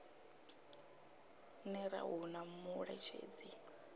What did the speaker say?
ner a hu na muṋetshedzi